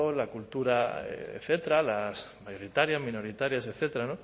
la cultura etcétera las mayoritarias minoritarias etcétera